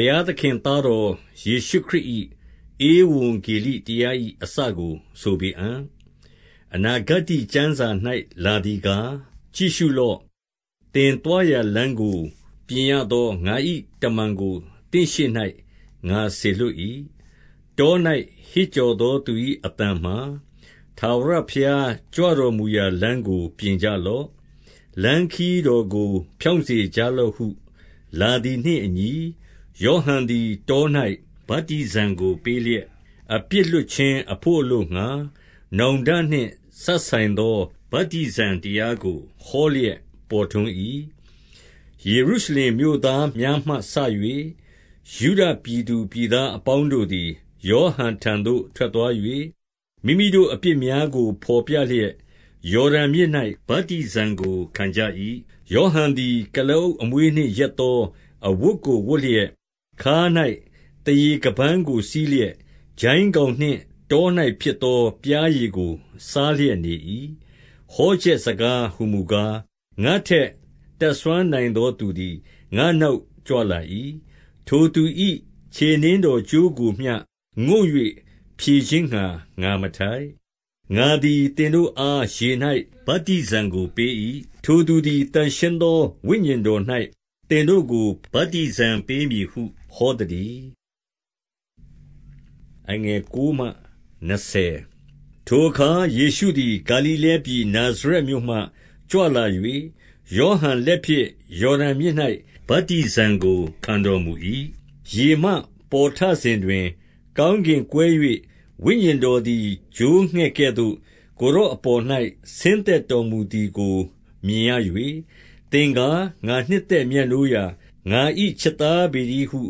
ုရားသခင်သားတော် ယေရှုခရစ်၏ ဧဝံဂေလိတရား၏ အစကို ဆိုပေအံ့။ အနာဂတ္တိကျမ်းစာ၌ လာသည်ကား၊ ကြည့်ရှုလော့။ သင်သွားရာလမ်းကို ပြင်ရသောငါ၏တမန်ကို သင့်ရှေ့၌ ငါစေလွှတ်၏။ တော၌ ဟစ်ကြော်သောသူ၏အသံမှာ၊ ထာဝရဘုရားကြွတော်မူရာလမ်းကို ပြင်ကြလော့။ လမ်းခရီး တော်ကို ဖြောင့်စေကြလော့ဟု လာသည်နှင့်အညီ၊ ယောဟန်သည် တော၌ ဗတ္တိဇံကိုပေးလျက်၊ အပြစ်လွှတ်ခြင်းအဘို့အလိုငှါ နောင်တနှင့် စပ်ဆိုင်သော ဗတ္တိဇံတရားကို ဟောလျက်ပေါ်ထွန်း၏။ ယေရုရှလင်မြို့သားများမှစ၍ ယုဒပြည်သူပြည်သားပေါင်းတို့သည် ယောဟန်ထံသို့ ထွက်သွား၍ မိမိ တို့ အပြစ်များကိုဘော်ပြလျက် ယော်ဒန်မြစ်၌ ဗတ္တိဇံကိုခံကြ၏။ ယောဟန်သည် ကုလားအုပ်အမွေးနှင့် ရက်သောအဝတ်ကိုဝတ်လျက်၊ ခါး၌ သားရေခါးပန်းကို စည်း လျက်၊ ကျိုင်းကောင်နှင့် တော၌ဖြစ်သောပျားရည်ကို စားလျက်နေ၏။ ဟောချက်စကားဟူမူကား၊ ငါ့ထက် တတ်စွမ်းနိုင်သောသူသည် ငါ့နောက်ကြွလာ၏။ ထိုသူ၏ ခြေနင်း တော်ကြိုးကိုမျှ ငုံ့၍ဖြတ်ခြင်းငှါ ငါမထိုက်။ ငါသည် သင်တို့အား ရေ၌ဗတ္တိဇံကိုပေး၏။ ထိုသူသည် သန့်ရှင်းသောဝိညာဉ်တော်၌ သင်တို့ကိုဗတ္တိဇံ ပေးမည်ဟု ဟောသတည်း။ ထိုအခါ ယေရှုသည် ဂါလိလဲပြည်နာဇရက်မြို့မှကြွလာ၍ ယောဟန်လက်ဖြင့် ယော်ဒန်မြစ်၌ ဗတ္တိဇံကို ခံတော်မူ၏။ ရေမှပေါ်ထစဉ်တွင် ကောင်းကင်ကွဲ၍ ဝိညာဉ်တော်သည်ချိုးငှက်ကဲ့သို့ ကိုယ်တော်အပေါ်၌ ဆင်း သက်တော်မူသည်ကို မြင်ရ၍၊ သင်ကား ငါနှစ်သက်မြတ်နိုးရာ၊ ငါ၏ချစ်သားပေတည်းဟု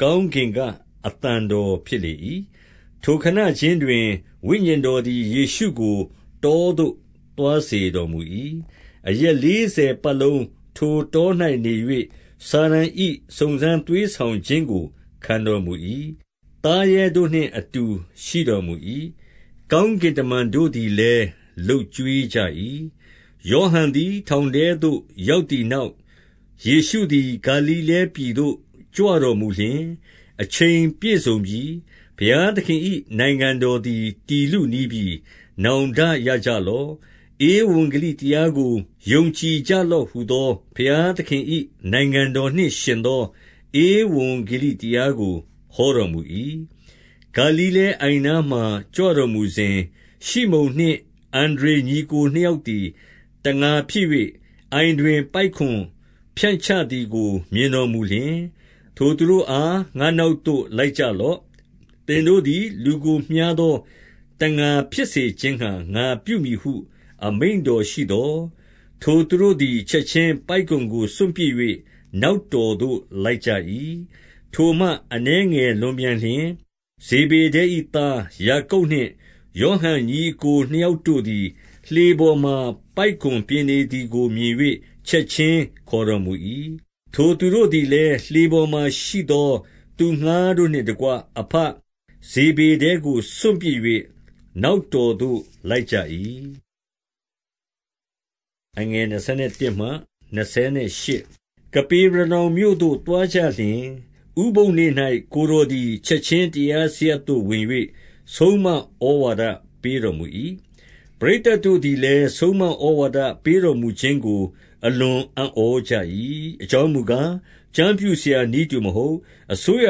ကောင်းကင်ကအသံတော်ဖြစ်လေ၏။ ထိုခဏခြင်းတွင် ဝိညာဉ်တော်သည် ယေရှုကိုတောသို့သွားစေတော်မူ၏။ အရက်လေးဆယ်ပတ်လုံးထိုတော၌ နေ၍ စာတန်၏စုံစမ်းသွေးဆောင်ခြင်းကို ခံတော်မူ၏။ သားရဲ တို့နှင့်အတူ ရှိတော်မူ၏။ ကောင်းကင်တမန်တို့သည်လည်း လုပ်ကျွေးကြ၏။ ယောဟန်သည် ထောင်ထဲသို့ရောက်သည်နောက်၊ ယေရှုသည် ဂါလိလဲပြည်သို့ ကြွတော်မူလျှင်၊ အချိန်ပြည့်စုံပြီ၊ ဘုရားသခင်၏နိုင်ငံတော်သည် တည်လုနီးပြီ၊ နောင်တရကြလော့။ ဧဝံဂေလိတရား ကို ယုံကြည်ကြလော့ဟူသော ဘုရားသခင်၏ နိုင်ငံတော်နှင့်ယှဉ်သော ဧဝံဂေလိတရားကိုဟောတော်မူ၏။ ဂါလိလဲအိုင်နားမှာ ကြွတော်မူစဉ်၊ ရှိမုန်နှင့် အန္ဒြေညီအစ်ကိုနှစ်ယောက်သည် တံငါဖြစ်၍၊ အိုင်တွင် ပိုက်ကွန်ဖြန့်ချသည်ကို မြင်တော်မူလျှင်၊ ထိုသူတို့အား ငါ့နောက်သို့လိုက်ကြလော့။ သင်တို့သည် လူကို မျှားသောတံငါဖြစ်စေခြင်းငှါ ငါပြုမည် ဟု အမိန့်တော်ရှိသော်၊ ထိုသူတို့သည် ချက်ခြင်းပိုက်ကွန်ကိုစွန့်ပစ်၍ နောက်တော်သို့ လိုက်ကြ၏။ ထိုမှအနည်းငယ်လွန်ပြန်လျှင် ဇေဗေဒဲ၏သား ယာကုပ်နှင့် ယောဟန်ညီအစ်ကိုနှစ်ယောက်တို့သည် လှေပေါ်မှာ ပိုက်ကွန်ပြင်နေသည်ကိုမြင်၍ ချက်ခြင်းခေါ်တော်မူ၏။ ထိုသူတို့သည်လည်း လှေပေါ်မှာရှိသော သူငှါးတို့နှင့်တကွ အဘဇေဗေဒဲကိုစွန့်ပစ်၍ နောက်တော်သို့ လိုက်ကြ၏။ ကပေရေနောင်မြို့သို့ သွားကြလျှင်၊ ဥပုသ်နေ့၌ ကိုယ်တော်သည်ချက်ခြင်းတရားစရပ်သို့ဝင်၍ ဆုံးမ ဩဝါဒပေးတော်မူ၏။ ပရိသတ်တို့သည်လည်း ဆုံးမဩဝါဒပေးတော်မူခြင်းကို အလွန်အံ့ဩကြ၏။ အကြောင်းမူကား၊ ကျမ်း ပြုဆရာနည်းတူမဟုတ်၊ အစိုးရ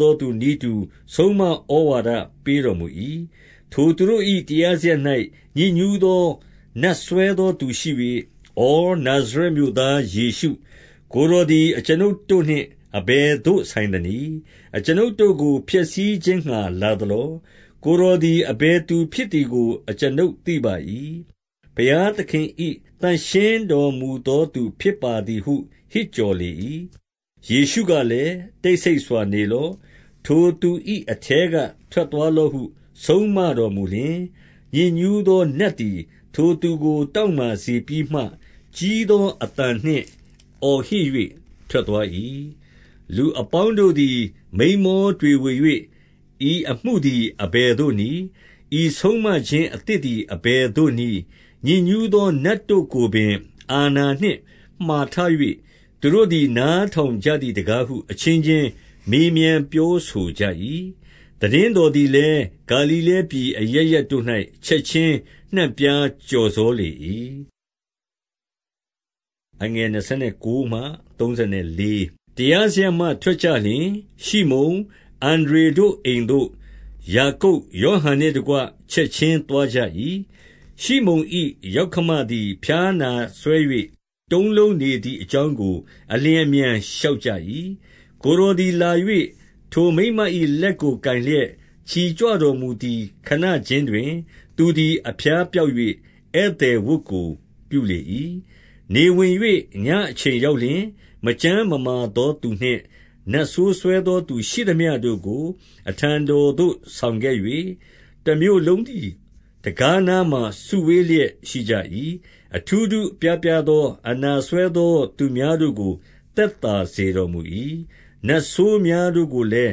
သောသူနည်းတူ ဆုံးမဩဝါဒပေးတော်မူ၏။ ထိုသူတို့၏ တရားစရပ်၌ ညစ်ညူးသောနတ်စွဲသောသူရှိ၍၊ ဪ နာဇရက်မြို့သားယေရှု၊ ကိုယ်တော်သည် အကျွန်ုပ်တို့နှင့်အဘယ်သို့ဆိုင်သနည်း။ အကျွန်ုပ် တို့ကို ဖျက်ဆီးခြင်းငှါလာသလော။ ကိုယ်တော်သည် အဘယ်သူဖြစ်သည်ကို အကျွန်ုပ်သိပါ၏။ ဘုရားသခင်၏ သန့်ရှင်းတော်မူသောသူဖြစ်ပါသည်ဟု ဟစ်ကြော်လေ၏။ ယေရှုကလည်း တိတ်ဆိတ်စွာနေလော့။ ထိုသူ၏အထဲက ထွက်သွားလော့ဟု ဆုံးမတော်မူလျှင်၊ ညစ်ညူးသောနတ်သည် ထိုသူကို တောင့်မာစေပြီးမှ၊ ကြီးသောအသံနှင့် အော်ဟစ်၍ထွက်သွား၏။ လူအပေါင်းတို့သည် မိန်းမောတွေဝေ၍၊ ဤအမှုသည် အဘယ်သို့နည်း။ ဤဆုံးမခြင်းအသစ်သည် အဘယ်သို့နည်း။ ညစ်ညူးသောနတ်တို့ကိုပင် အာဏာနှင့်မှာထား၍၊ သူတို့သည် နားထောင်ကြသည်တကားဟု အချင်းချင်းမေးမြန်းပြောဆိုကြ၏။ သိတင်းတော်သည်လည်း ဂါလိလဲပြည်အရပ်ရပ်တို့၌ ချက်ချင်းနှံ့ပြားကျော်စောလေ၏။ တရားစရပ်မှ ထွက်ကြလျှင်၊ ရှိမုန်၊ အန္ဒြေတို့အိမ်သို့ ယာကုပ်၊ ယောဟန်နှင့်တကွ ချက်ခြင်းသွားကြ ၏။ ရှိမုန်၏ယောက္ခမသည် ဖျားနာစွဲ၍ တုံးလုံးနေသည်အကြောင်းကို အလျင်အမြန်လျှောက်ကြ၏။ ကိုယ်တော်သည်လာ၍ ထိုမိန်းမ၏လက်ကိုကိုင်လျက် ချီကြွတော်မူသည် ခဏခြင်းတွင် သူသည် အဖျားပျောက်၍ ဧည့်သည်ဝတ်ကို ပြုလေ၏။ နေဝင်၍ ညအချိန်ရောက်လျှင်၊ မကျန်းမမာသောသူနှင့်နတ်ဆိုးစွဲသောသူရှိသမျှတို့ကို အထံတော်သို့ ဆောင်ခဲ့၍၊ တမြို့လုံးသည် တံခါးနားမှာ စုဝေးလျက်ရှိကြ၏။ အထူးထူးအပြားပြားသော အနာစွဲသောသူများတို့ကို သက်သာစေတော်မူ၏။ နတ်ဆိုးများတို့ကိုလည်း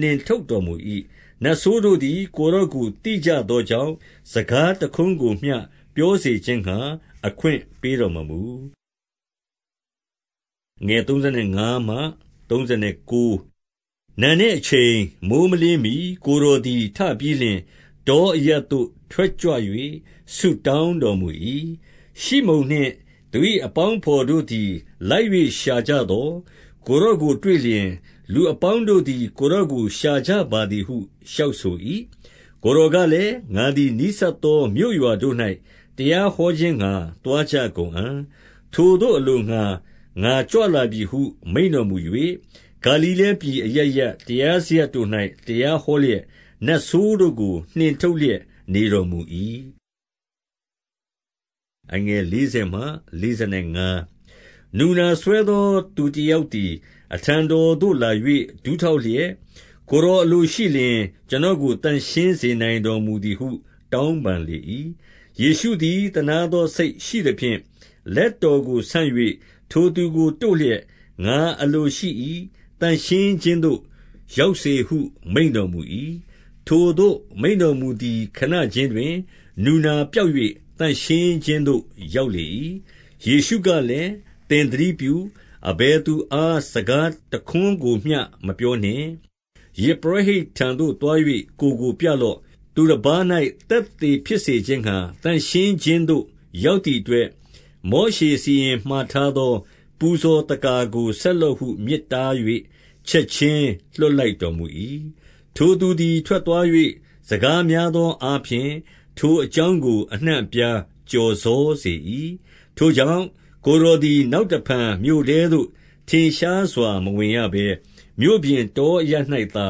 နှင်ထုတ်တော်မူ၏။ နတ်ဆိုးတို့သည် ကိုယ်တော်ကိုသိကြသောကြောင့်၊ စကားတခွန်းကိုမျှ ပြောစေခြင်းငှါ အခွင့်ပေးတော်မူ၏။ နံနက်အချိန်၊ မိုဃ်းမလင်းမှီကိုယ်တော်သည် ထပြီးလျှင် တောအရပ်သို့ထွက်ကြွ၍ ဆုတောင်းတော် မူ၏။ ရှိမုန်နှင့် သူ၏အပေါင်းအဘော်တို့သည် လိုက်၍ရှာကြသော်၊ ကိုယ်တော်ကိုတွေ့လျှင် လူအပေါင်းတို့သည် ကိုယ်တော်ကို ရှာကြပါသည်ဟုလျှောက်ဆို၏။ ကိုယ်တော်ကလည်း ငါသည် နီးစပ်သောမြို့ရွာတို့၌ တရားဟောခြင်းငှါ သွားကြကုန်အံ့။ ထိုသို့ အလို့ ငှါ ငါကြွလာပြီဟု မိန့်တော်မူ၍၊ ဂါလိလဲပြည်အရပ်ရပ် တရားစရပ်တို့၌ တရားဟောလျက်နတ်ဆိုးတို့ကို နှင်ထုတ်လျက်နေတော်မူ၏။ နူနာစွဲသောသူတယောက်သည် အထံတော်သို့လာ၍ ဒူးထောက်လျက်၊ ကိုယ်တော်အလိုရှိလျှင် ကျွန် တော်ကို သန့်ရှင်းစေနိုင်တော်မူသည်ဟု တောင်းပန်လေ၏။ ယေရှုသည် သနားသောစိတ်ရှိသဖြင့် လက်တော်ကိုဆန့်၍ ထိုသူကိုတို့လျှက်၊ ငါအလိုရှိ၏။ သန့်ရှင်း ခြင်းသို့ ရောက်စေဟု မိန့်တော်မူ၏။ ထိုသို့ မိန့်တော်မူသည် ခဏခြင်းတွင် နူနာပျောက်၍ သန့်ရှင်းခြင်းသို့ရောက်လေ၏။ ယေရှုကလည်း၊ သင်သတိပြု။ အဘယ်သူအား စကားတခွန်းကိုမျှမပြောနှင့်။ ယဇ်ပုရောဟိတ်ထံသို့သွား၍ ကိုယ်ကိုပြလော့။ သူတပါး ၌ သက်သေဖြစ်စေခြင်းငှါ သန့်ရှင်းခြင်းသို့ ရောက်သည်အတွက်၊ မောရှေစီရင်မှာထားသော ပူဇော်သက္ကာကို ဆက်လော့ဟု မြစ်တား၍ ချက်ခြင်းလွှတ်လိုက်တော်မူ၏။ ထိုသူသည်ထွက်သွား၍ စကားများသောအားဖြင့် ထိုအကြောင်းကို အနှံ့အပြားကျော်စေ၏။ ထို့ ကြောင့် ကိုယ်တော်သည် နောက်တဖန်မြို့ထဲသို့ ထင်ရှားစွာမဝင်ရဘဲ။ မြို့ပြင်တောအရပ်၌သာ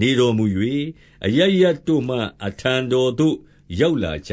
နေတော်မူ၍ အရပ်ရပ်တို့မှ အထံတော်သို့ ရောက်လာကြ